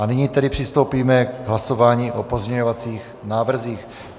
A nyní tedy přistoupíme k hlasování o pozměňovacích návrzích.